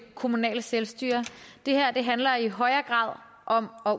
kommunale selvstyre det her handler i højere grad om at